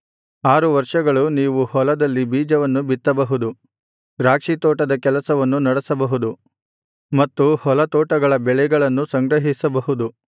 ಆರು ವರ್ಷಗಳು ನೀವು ಹೊಲದಲ್ಲಿ ಬೀಜವನ್ನು ಬಿತ್ತಬಹುದು ದ್ರಾಕ್ಷಿ ತೋಟದ ಕೆಲಸವನ್ನು ನಡೆಸಬಹುದು ಮತ್ತು ಹೊಲತೋಟಗಳ ಬೆಳೆಗಳನ್ನು ಸಂಗ್ರಹಿಸಬಹುದು